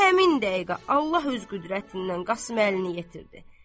Həmin dəqiqə Allah öz qüdrətindən Qasım Əlini yetirdi.